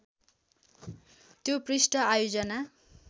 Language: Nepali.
त्यो पृष्ठ आयोजना